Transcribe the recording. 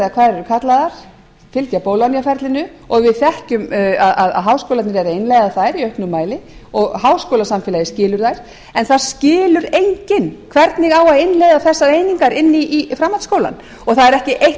eru kallaðar og fylgja bologna ferlinu og við þekkjum að háskólarnir eru að innleiða þær í auknum mæli og háskólasamfélagið skilur þær en það skilur enginn hvernig á að innleiða þessar einingar inn í framhaldsskólann og það er ekki eitt